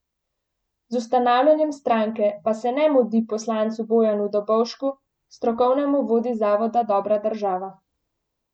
Z ustanavljanjem stranke pa se ne mudi poslancu Bojanu Dobovšku, strokovnemu vodji Zavoda Dobra država.